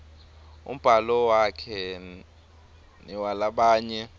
umbhalo wakhe newalabanye